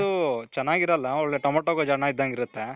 ಮಾಡೋದು ಚೆನಾಗಿರಲ್ಲ. ಒಳ್ಳೆ ಟಮೊಟೂ ಗೊಜ್ಜು ಅನ್ನ ಇದ್ದಂಗಿರುತ್ತೆ.